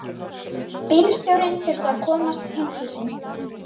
Bílstjórinn þurfti að komast heim til sín.